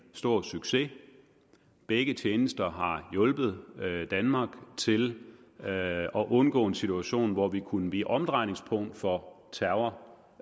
stor succes begge tjenester har hjulpet danmark til at undgå en situation hvor vi kunne blive omdrejningspunkt for terror